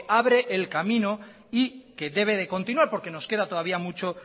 abre el camino y que debe de continuar porque nos queda todavía mucho